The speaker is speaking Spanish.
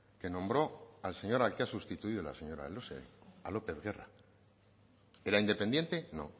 que nombró al señor al que ha sustituido la señora elósegui a lópez guerra era independiente no